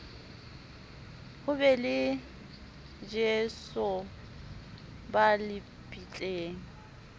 ho be le lesoba lebitleng